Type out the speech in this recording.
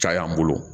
Caya an bolo